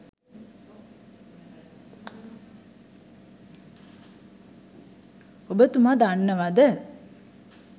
ඔබතුම දන්නවද?